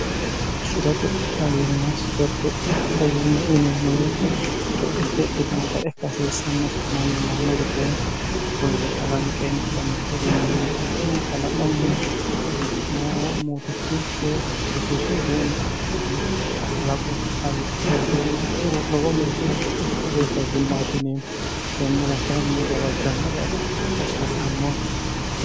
shirote fayimma sirotte fayimma inemmoyeete co'itte ikkitino xaekka seessannosi manni manno widooni kulire kalanqeenna yannitte gennonnikkikkinni laqnni momootichu woy yesuusi widoonni kalaqu kaliiqite widoonni ikkiro lowo geeshsha co'ittetee fayimmaatineemmo tennira kainni gawajannore agadha hasiessanno